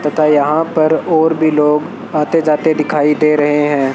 तथा यहां पर और भी लोग आते जाते दिखाई दे रहे है।